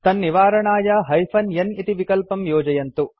तन्निवारणाय hyphen n इति विकल्पं योजयन्तु